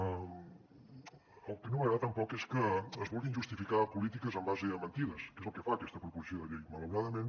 el que no m’agrada tampoc és que es vulguin justificar polítiques en base a mentides que és el que fa aquesta proposició de llei malauradament